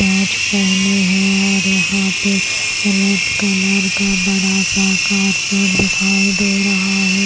सांच पहने हैं और यहां पे रेड कलर का बड़ा सा कार्पेट दिखाई दे रहा है।